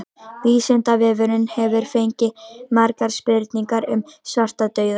Vísindavefurinn hefur fengið margar spurningar um svartadauða.